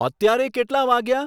અત્યારે કેટલાં વાગ્યા